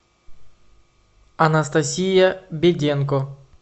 анастасия беденко